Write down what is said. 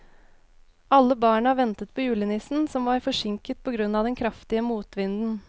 Alle barna ventet på julenissen, som var forsinket på grunn av den kraftige motvinden.